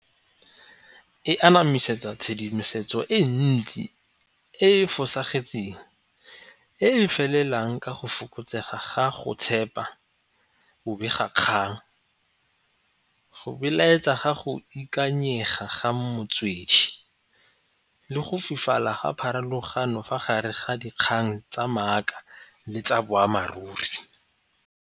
E anamisetsa tshedimosetso e ntsi e e fosagetseng e e felelang ka go fokotsega ga go tshepa bobegakgang, go beeletsa ga go ikanyega ga motswedi le go fufula ga pharologano fa gare ga dikgang tsa maaka le tsa boammaaruri.